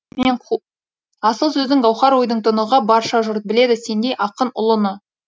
асыл сөздің гауһар ойдың тұнығы барша жұрт біледі сендей ақын ұлыны